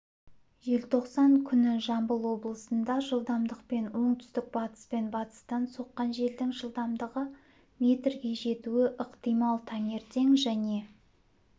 желтоқсан күні жамбыл облысында жылдамдықпен оңтүстік-батыс пен батыстан соққан желдің жылдамдығы метрге жетуі ықтимал таңертең және